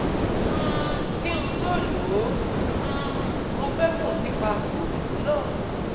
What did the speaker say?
um Kí n tó lò ó, um mo fẹ́ mọ̀ nípa òògùn náà